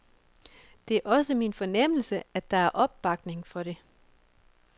Det er også min fornemmelse, at der er opbakning for det.